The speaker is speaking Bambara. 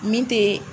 Min te